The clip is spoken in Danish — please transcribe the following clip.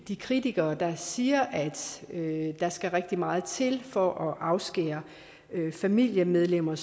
de kritikere der siger at der skal rigtig meget til for at afskære familiemedlemmer